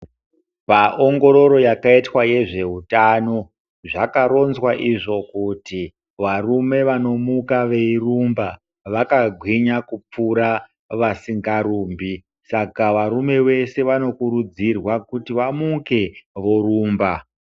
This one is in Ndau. Paongororo yakaitwa nezveutano zvakaronzwa varume veshe vanorumba vakagwinya kudarika vasingarumbi saka varume vese vanokurudzirwa vamuke vorumba.